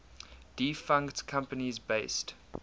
defunct companies based